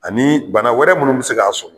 Ani bana wɛrɛ munnu bi se k'a sɔrɔ